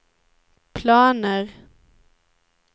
planer